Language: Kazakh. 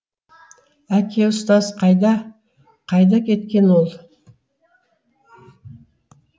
әке ұстаз қайда қайда кеткен ол